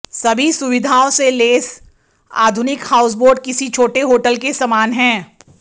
सभी सुविधाओं से लैस आधुनिक हाउसबोट किसी छोटे होटल के समान हैं